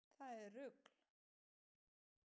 Það er rugl.